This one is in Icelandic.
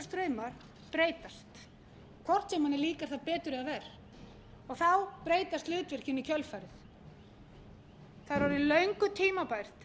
straumar breytast hvort sem manni líkar það betur eða verr og þá breytast hlutverkin í kjölfarið það er orðið löngu tímabært